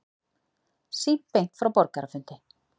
Sýnt beint frá borgarafundi